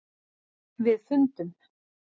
. við fundum.